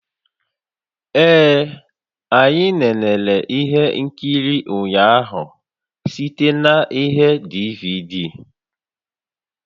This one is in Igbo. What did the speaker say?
Ee anyị nenere ihe nkiri ụnyaahụ site na ihe DVD